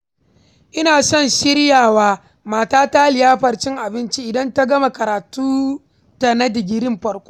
Ina son shirya wa matata liyafar cin abinci idan ta gama karatunta na digirin farko.